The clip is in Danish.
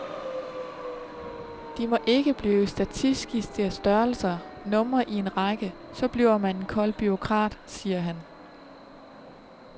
De må ikke blive statistiske størrelser, numre i en række, så bliver man en kold bureaukrat, siger han.